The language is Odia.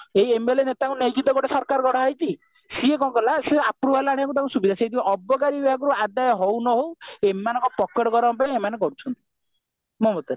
ଏଇ MLA ନେତାଙ୍କୁ ନେଇ ତ ଗୋଟେ ସରକାର ଗଢା ହେଇଛି ସିଏ କଣ କରିବ ନ ସେ approval ଆଣିବାକୁ ତାଙ୍କ ସୁବିଧା ସେଇଥିପାଇଁ ଅବକାରୀ ବିଭାଗ ପାଖରୁ ଅଦାୟ ହଉ ନ ହଉ ସେମାନଙ୍କ ପକେଟ ଗରମ ପାଇଁ ଏମାନେ କରୁଛନ୍ତି